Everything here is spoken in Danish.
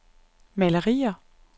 malerier